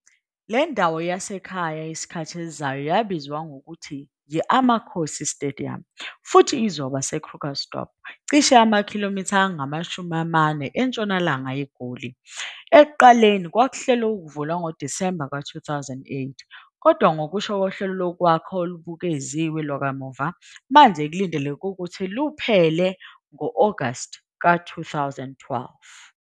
Le ndawo yasekhaya yesikhathi esizayo yabizwa ngokuthi yi-Amakhosi Stadium, futhi izoba IKrugersdorp, cishe amakIGoli angama-40 entshonalanga yeGoli. Ekuqaleni kwakuhlelwe ukuvulwa ngoDisemba 2008, kodwa ngokusho kohlelo lokwakha olubukeziwe lwakamuva, manje kulindeleke ukuthi luphele ngo-Agasti 2012.